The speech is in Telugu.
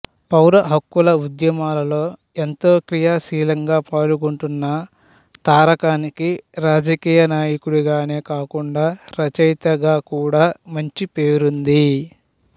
పౌర హక్కుల ఉద్యమాల్లో ఎంతో క్రియాశీలంగా పాల్గొంటున్న తారకానికి రాజకీయ నాయకుడిగానే కాకుండా రచయితగా కూడా మంచి పేరుంది